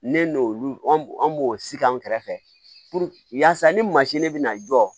Ne n'olu an b'o sigi an kɛrɛfɛ yaasa ni mansin de bɛ na jɔ